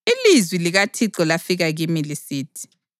Ilizwi likaThixo lafika kimi lisithi: